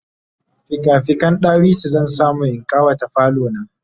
fika fiken ɗawisu zan samu in ƙawata falo na